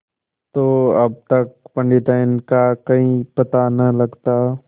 तो अब तक पंडिताइन का कहीं पता न लगता